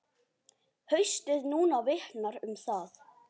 Haustið núna vitnar um það.